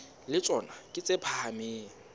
le tsona ke tse phahameng